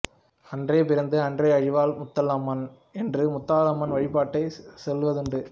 அன்றே பிறந்து அன்றே அழிவாள் முத்தாலம்மன் என்று முத்தாலம்மன் வழிபாட்டை சொல்வதுண்டு